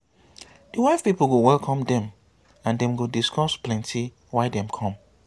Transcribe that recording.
di wife pipol go welcome dem and dem go discuss plenti why dem kom